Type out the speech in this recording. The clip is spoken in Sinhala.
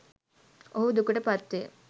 ඔහු දුකට පත්වේ.